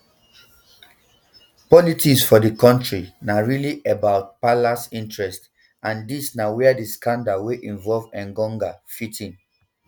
politics for di kontri na really about palace interest and dis na wia di scandal wey involve engonga fit in